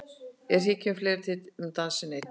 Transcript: En hér kemur fleira til en dansinn einn.